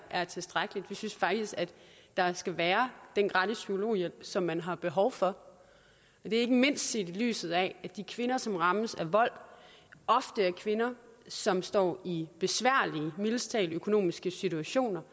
er tilstrækkeligt vi synes faktisk at der skal være den gratis psykologhjælp som man har behov for det er ikke mindst set i lyset af at de kvinder som rammes af vold ofte er kvinder som står i mildest talt besværlige økonomiske situationer